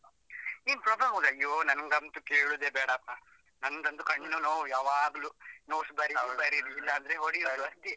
ನೀನ್ ಅಯ್ಯೋ ನಂಗಂತೂ ಕೇಳುದೇ ಬೇಡಪ್ಪ, ನಂಗಂತೂ ಕಣ್ಣು ನೋವು ಯಾವಾಗ್ಲೂ. notes ಬರಿವುದು ಬರಿವುದು ಇಲ್ಲದ್ರೆ ಹೊಡಿಯುದು ಅಷ್ಟೇ.